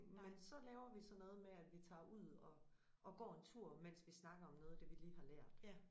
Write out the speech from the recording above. Men så laver vi så noget med at vi tager ud og og går en tur mens vi snakker om noget af det vi lige har lært